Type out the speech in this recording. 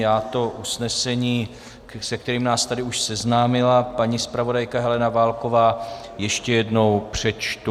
Já to usnesení, se kterým nás tady už seznámila paní zpravodajka Helena Válková, ještě jednou přečtu: